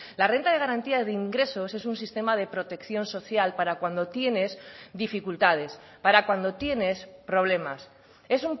la renta de garantía de ingresos es un sistema de protección social para cuando tienes dificultades para cuando tienes problemas es